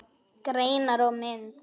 Greinar og mynd